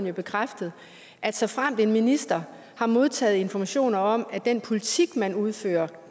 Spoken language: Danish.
har bekræftet at såfremt en minister har modtaget informationer om at den politik man udfører